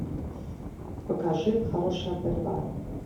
покажи хорошая борьба